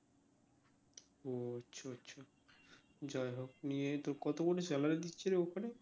যাই হোক নিয়ো তোর কত করে salary দিচ্ছে রে ওখানে?